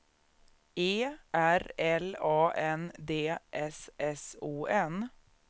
E R L A N D S S O N